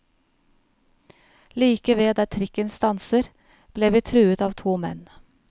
Like ved der trikken stanser, ble vi truet av to menn.